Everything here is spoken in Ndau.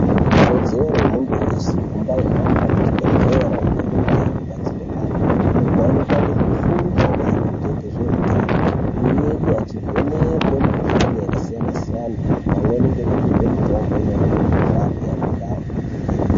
Ikodzero yemuntu weshe kumbai hamba kuchibhehlera kundai inobatsire antu uko anopangidze fundo maringe ngezveutano uye achivheneke mukuhlani yakasiyana siyana pamweni ngekupuhwe mutombo inorape mukuhlani yanenge aningirwe.